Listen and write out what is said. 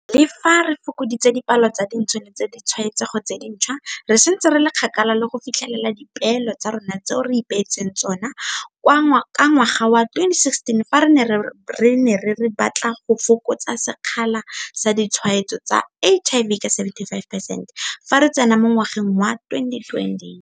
Le fa re fokoditse dipalo tsa dintsho le tsa ditshwaetsego tse dintšhwa, re santse re le kgakala le go fi tlhelela dipeelo tsa rona tseo re ipeetseng tsona ka ngwaga wa 2016 fa re ne re re re batla go fokotsa sekgala sa ditshwaetso tsa HIV ka 75 percent fa re tsena mo ngwageng wa 2020.